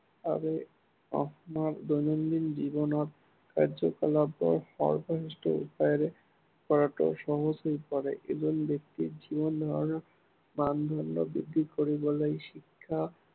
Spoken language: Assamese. আমাৰ দৈনন্দিন জীৱনৰ কাৰ্যকলাপ সহজ উপায়েৰে কৰাটো সহজ হৈ পৰে। এজন ব্য়ক্তিৰ জীৱন ধাৰনৰ মানদণ্ড বৃদ্ধি কৰিবলৈ শিক্ষা